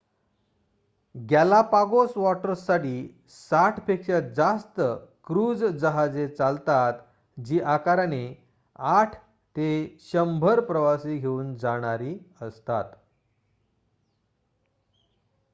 Galapagos वॉटर्ससाठी 60 पेक्षा जास्त क्रूझ जहाजे चालतात जी आकाराने 8 ते 100 प्रवासी घेऊन जाणारी असतात